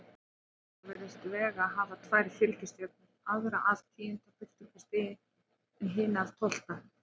Í sjónauka virðist Vega hafa tvær fylgistjörnur, aðra af tíunda birtustigi en hina af tólfta.